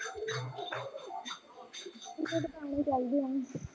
ਇੰਨੇ ਕੁ ਤਾਂ ਆਣੇ ਚਾਹੀਦੇ ਆ